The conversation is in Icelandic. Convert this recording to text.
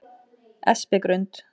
Espigrund